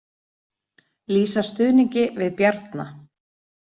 Lýsa stuðningi við Bjarna